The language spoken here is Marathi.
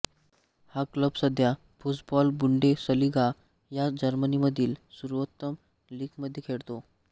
हा क्लब सध्या फुसबॉलबुंडेसलीगा ह्या जर्मनीमधील सर्वोत्तम लीगमध्ये खेळतो